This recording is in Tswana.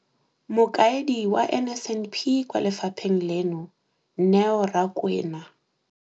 Mokaedi wa NSNP kwa lefapheng leno, Neo Rakwena.